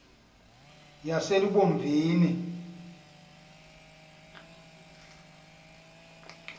yaselubomvini